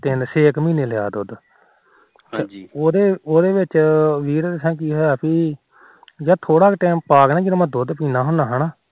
ਤਿੰਨ ਛੇ ਕ ਮਹੀਨੇ ਲਿਆ ਦੁਧ ਉਹਦੇ ਉਹਦੇ ਵਿੱਚ ਕੀ ਹੋਇਆ ਪੀ ਹਾਜੀ ਥੋਰਾ ਕ time ਪਾਕੇ ਨਾ ਜਦੋ ਮੈ ਦੂਧ ਪੀਦਾ ਹੁੰਦਾ